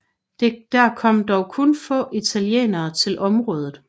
Der kom dog kun få italienere til området